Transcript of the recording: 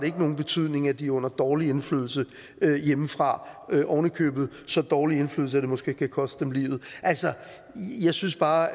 ikke nogen betydning at de er under dårlig indflydelse hjemmefra oven i købet så dårlig en indflydelse at det måske kan koste dem livet altså jeg synes bare